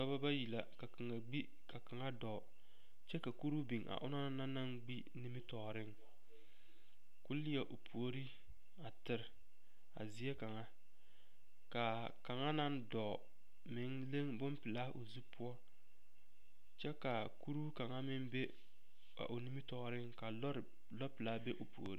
Dɔba bayi la ka kaŋa gbi ka kaŋa dɔɔ kyɛ ka kuruu biŋ a o na naŋ gbi nimitɔɔreŋ k,o leɛ o puori a tere a zie kaŋa k,a kaŋa naŋ dɔɔ meŋ leŋ bompelaa o zu poɔ kyɛ ka kuruu kaŋa meŋ be a o nimitɔɔreŋ ka lɔre lɔɔpelaa be o puori.